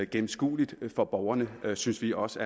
gennemskueligt for borgerne synes vi også